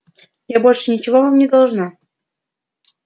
я больше ничего вам не должна